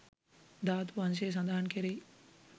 ධාතු වංශය සඳහන් කෙරෙයි.